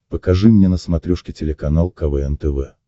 покажи мне на смотрешке телеканал квн тв